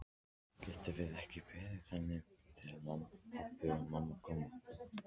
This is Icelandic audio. Getum við ekki beðið þangað til pabbi og mamma koma?